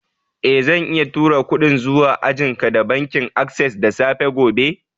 Eh, zan iya turo kudin zuwa ajian ka da bankin access da safe gobe.